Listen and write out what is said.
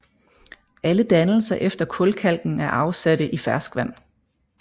Alle dannelser efter kulkalken er afsatte i fersk vand